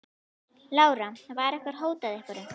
Lára: Var ykkur hótað einhverju?